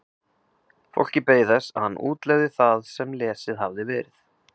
Fólkið beið þess að hann útlegði það sem lesið hafði verið.